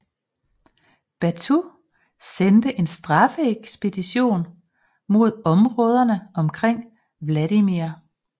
Batu sendte en straffeekspedition mod områderne omkring Vladimir